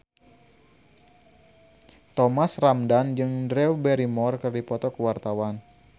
Thomas Ramdhan jeung Drew Barrymore keur dipoto ku wartawan